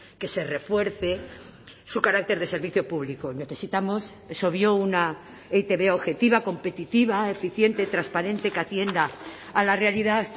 que se refuerce su carácter de servicio público necesitamos es obvio una e i te be objetiva competitiva eficiente transparente que atienda a la realidad